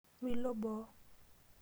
Milo boo